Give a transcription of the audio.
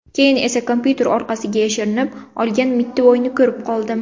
Keyin esa kompyuter orqasiga yashirinib olgan mittivoyni ko‘rib qoldim”.